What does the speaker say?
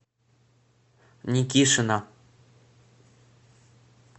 никишина